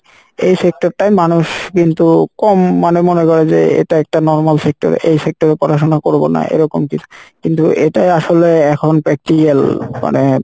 এই sector টাই মানুষ কিন্তু কম মানে মনে করো যে এটা একটা normal sector এই sector এ পড়াশোনা করবোনা এরকম কিছু কিন্তু এটাই আসলে এখন practical মানে